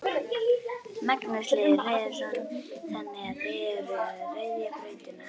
Magnús Hlynur Hreiðarsson: Þannig að þið eruð að ryðja brautina?